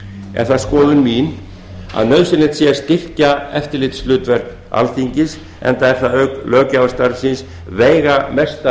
er skoðun mín sú að nauðsynlegt sé að styrkja eftirlitshlutverk alþingis enda er það auk löggjafarstarfsins veigamesta